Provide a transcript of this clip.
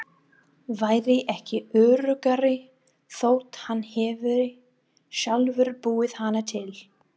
Væri ekki öruggari þótt hann hefði sjálfur búið hana til.